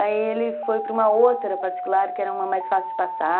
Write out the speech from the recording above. Aí ele foi para uma outra particular, que era uma mais fácil de passar...